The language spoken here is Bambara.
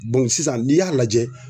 Dɔnku sisan n'i y'a lajɛ